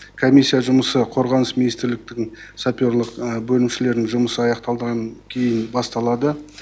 комиссия жұмысы қорғаныс министрліктігін саперлік бөлімшелерін жұмысы аяқталдаған кейін басталады